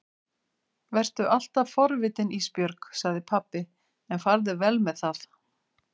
Vertu alltaf forvitin Ísbjörg, sagði pabbi, en farðu vel með það.